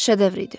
Şedevr idi.